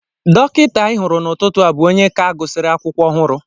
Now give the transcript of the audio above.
Dọkịta ị hụrụ n'ụtụtụ a bụ onye ka gụsịrị akwụkwọ ọhụrụ